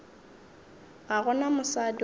ga go na mosadi gomme